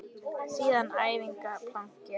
Síðasta æfingin planki.